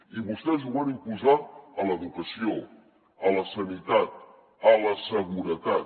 i vostès ho van imposar a l’educació a la sanitat a la seguretat